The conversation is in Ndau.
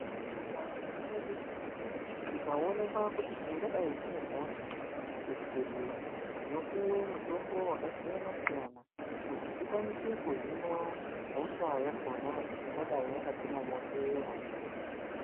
Muntaramo mwedu tikaonekwa kuti tingadai rine hosha kuzvibhedhleya tinopuwa mutombo wakasiyana-siyana kuti tikwanisa kuhinwa hosha yakona ingadai yakatimomotera.